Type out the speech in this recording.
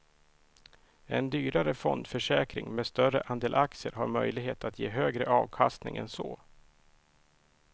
En dyrare fondförsäkring med större andel aktier har möjlighet att ge högre avkastning än så.